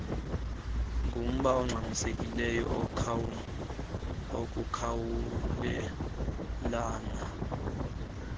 ngumba ongxamisekileyo wokukhawulelana